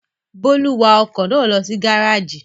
Bólú wa ọkọ̀ náà lọ sí gárájì?